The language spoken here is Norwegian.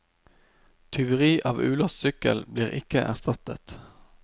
Tyveri av ulåst sykkel blir ikke erstattet.